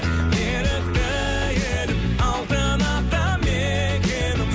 ерікті елім алтын ата мекенім